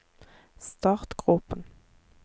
startgropen